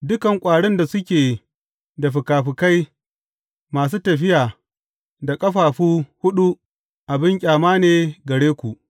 Dukan ƙwarin da suke da fikafikai masu tafiya da ƙafafu huɗu abin ƙyama ne gare ku.